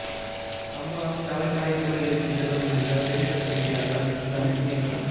சம்பவம் சபரிமலை கோயிலுக்கு செல்ல முயன்ற பெண் பத்திரிக்கையாளர் தடுத்த நிறுத்தம்